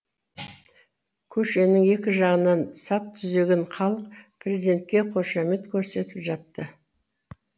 көшенің екі жанында сап түзеген халық президентке қошемет көрсетіп жатты